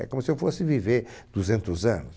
É como se eu fosse viver duzentos anos.